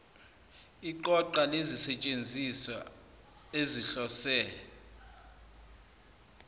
iqoqa lezisetshenziswa ezihlose